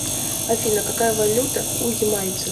афина какая валюта у ямайцев